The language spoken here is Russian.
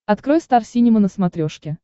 открой стар синема на смотрешке